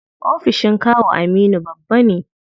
Ofishin kawu Aminu babba ne.